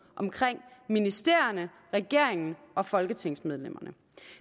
omkring ministerierne regeringen og folketingsmedlemmerne